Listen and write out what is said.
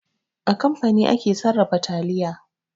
A kamfani ake sarrafa taliya.